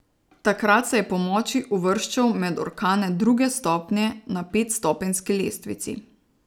Takrat se je po moči uvrščal med orkane druge stopnje na petstopenjski lestvici.